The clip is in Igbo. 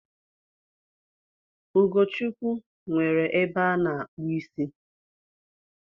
Ugochukwu nwere ebe ana-akpu isi